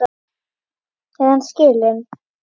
Er hann skilinn?